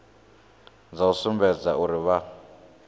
dza u sumbedza uri vha